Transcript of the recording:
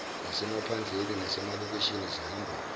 zasemaphandleni nasemalokishini zihamba